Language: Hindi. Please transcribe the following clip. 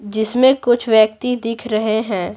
जिसमें कुछ व्यक्ति दिख रहे हैं।